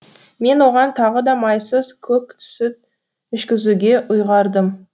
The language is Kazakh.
мен оған тағы да майсыз көк сүт ішкізуге ұйғардым